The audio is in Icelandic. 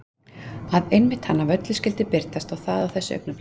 Að einmitt hann af öllu fólki skyldi birtast og það á þessu augnabliki.